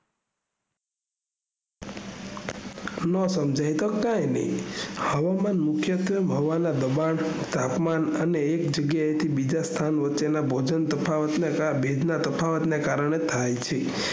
નો સમજાય તો કઈ નઈ હવામાન મુખ્યતેવે હવાના દબાણ તાપમાન અને એક જગ્યા એથી બીજી સ્થાન ને વચ્ચેના ભેજ ના તફાવત ને કારણે થાય છે